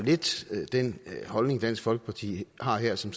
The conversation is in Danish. den holdning dansk folkeparti har her som